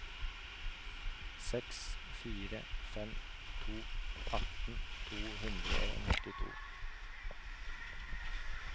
seks fire fem to atten to hundre og nittito